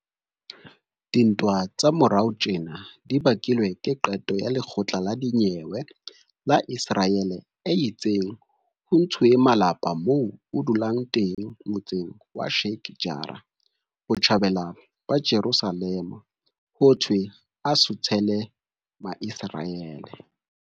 Dintwa tsa morao tjena di bakilwe ke qeto ya lekgotla la dinyewe la Iseraele e itseng ho ntshuwe malapa moo a dulang teng motseng wa Sheikh Jarrah, Botjhabela ba Jerusalema, hothwe a suthele Maiseraele.